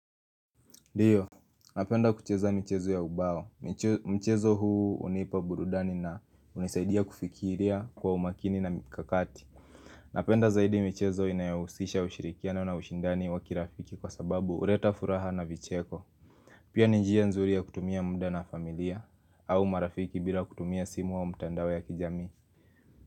Ndiyo, napenda kucheza michezo ya ubao, mchezo huu hunipa burudani na hunisaidia kufikiria kwa umakini na mikakati Napenda zaidi michezo inayohusisha ushirikiano na ushindani wa kirafiki kwa sababu huleta furaha na vicheko Pia ni njia nzuri ya kutumia muda na familia, au marafiki bila kutumia simu au mtandao ya kijamii.